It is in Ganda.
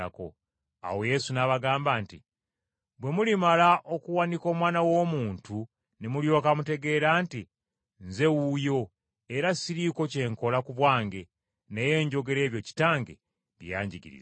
Awo Yesu n’abagamba nti, “Bwe mulimala okuwanika Omwana w’Omuntu ne mulyoka mutegeera nti nze wuuyo, era siriiko kye nkola ku bwange, naye njogera ebyo Kitange bye yanjigiriza.